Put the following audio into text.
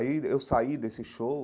Aí eu saí desse show,